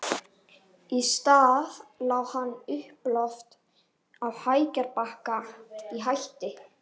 Í staðinn lá hann uppíloft á lækjarbakka, að hætti